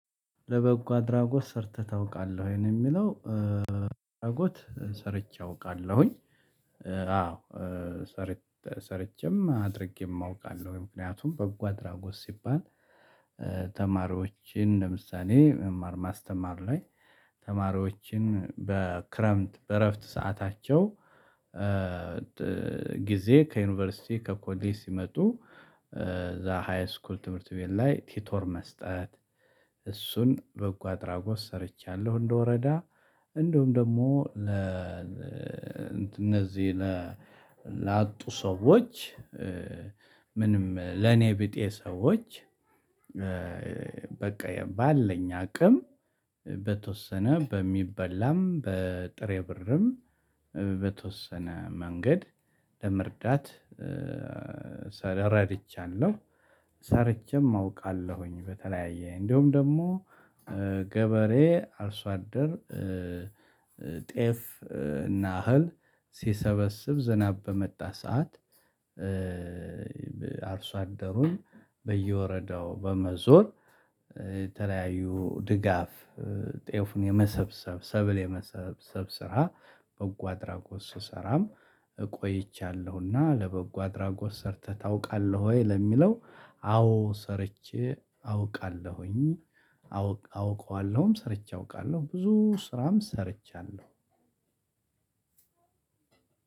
ለበጎ አድራጎት ሰርተህ ታውቃለህ ወይ ነው የሚለው? አድራጎት ሰርቼ አውቃለሁኝ። አዎ። ሰር ሰርቼም አድርጌም አውቃለሁ ምክንያቱም በጎ አድራጎት ሲባል። ተማሪዎችን ለምሳሌ መማር ማስተማር ላይ ተማሪዎችን በክረምት በእረፍት ሰዓታቸው። ጊዜ ከዩኒቨርሲቲ ከኮሌ ሲመጡ እዛ ሃይስኩል ትምህርት ቤት ላይ ቲቶር መስጠት። እሱን በጎ አድራጎት ሰርቻለሁ። እንደወረዳ እንዲሁም ደግሞ ለ እንት እነዚህ ለ ላጡ ሰዎች። ምንም ለኔ ቢጤ ሰዎች። በቃ የባለኝ አቅም በተወሰነ በሚበላም በጥሬ ብርም በተወሰነ መንገድ ለመርዳት ለምሳሌ እረድቻለሁ። ሰርቼም አውቃለሁኝ በተለያየ እንደውም ደግሞ ገበሬ አርሶ አደር። ጤፍ እና እህል ሲሰበስብ ዝናብ በመጣ ሰዓት። አርሶ አደሩን በየወረዳው በመዞር የተለያዩ ድጋፍ ጤፉን የመሰብሰብ ሰብል የመሰብሰብ ስራ። በጎ አድራጎት ስሰራም ቆይቻለሁና። ለበጎ አድራጎት ሰርተህ ታውቃለህ ወይ ለሚለው? አዎ ሰርቼ አውቃለሁኝ። አውቀዋለሁም ሰርቼ አውቃለሁ ብዙ ስራም ሰርቻለሁ።